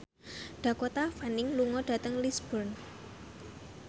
Dakota Fanning lunga dhateng Lisburn